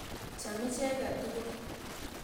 Cham icheket tukul.